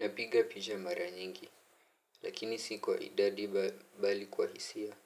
Napiga picha mara nyingi. Lakini si kwa idadi bali kwa hisia.